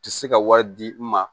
Tɛ se ka wari di n ma